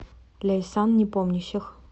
ляйсан непомнящих